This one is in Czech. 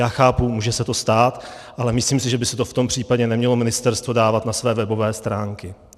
Já chápu, může se to stát, ale myslím si, že by si to v tom případě nemělo ministerstvo dávat na své webové stránky.